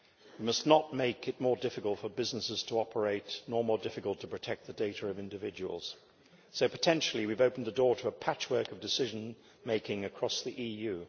We must not make it more difficult for businesses to operate or more difficult to protect the data of individuals. Potentially we have opened the door to a patchwork of decision making across the EU.